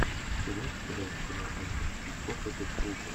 ты можешь показать кино альфреда хичкока дэдпул два